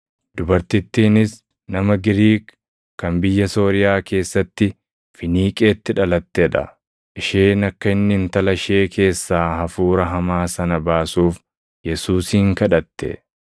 Dubartittiinis nama Giriik, kan biyya Sooriyaa keessatti Finiiqeetti dhalatee dha. Isheen akka inni intala ishee keessaa hafuura hamaa sana baasuuf Yesuusin kadhatte.